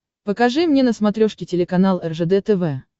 покажи мне на смотрешке телеканал ржд тв